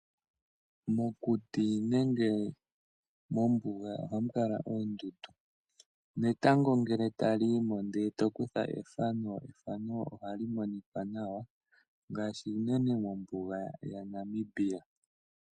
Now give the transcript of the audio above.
Mokuti nenge mombuga ohamu kala oondundu netango ngele tali yi mo e to kutha ethano, ethano ohali monika nawa, ngaashi iimeno ngaashi unene mombuga yaNamibia.